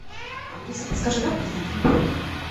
алиса подскажи как подтвердить бронь